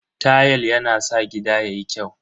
Tayal yana sa gida yayi kyau.